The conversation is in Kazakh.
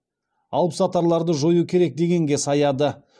алыпсатарларды жою керек дегенге саяды